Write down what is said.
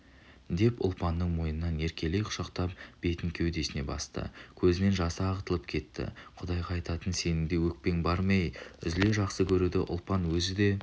деп ұлпанның мойнынан еркелей құшақтап бетін кеудесіне басты көзінен жасы ағытылып кетті құдайға айтатын сенің де өкпең бар ма әй үзіле жақсы көруді ұлпан өзі де